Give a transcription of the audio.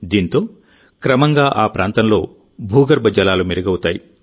దీంతో క్రమంగా ఆ ప్రాంతంలో భూగర్భ జలాలు మెరుగవుతాయి